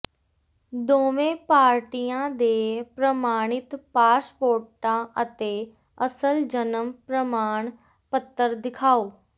ਦੋਵੇਂ ਪਾਰਟੀਆਂ ਦੇ ਪ੍ਰਮਾਣਿਤ ਪਾਸਪੋਰਟਾਂ ਅਤੇ ਅਸਲ ਜਨਮ ਪ੍ਰਮਾਣ ਪੱਤਰ ਦਿਖਾਓ